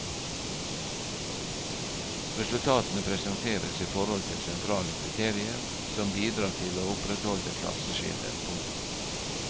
Resultatene presenteres i forhold til sentrale kriterier som bidrar til å opprettholde klasseskiller. punktum